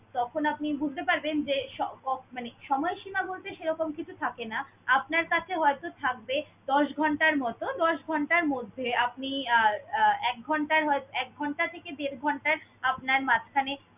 যখন আপনি বুঝতে পারবেন যে স~ অ~ মানে সময়সীমা বলতে সেরকম কিছু থাকে না। আপনার কাছে হয়ত থাকবে দশ ঘন্টার মত। দশ ঘন্টার মধ্যে আপনি আহ আহ এক ঘন্টার হয়~ এক ঘন্টা থেকে দেড় ঘন্টা আপনার মাঝখানে